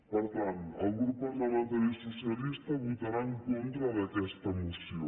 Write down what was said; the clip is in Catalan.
per tant el grup parlamentari socialista votarà en con·tra d’aquesta moció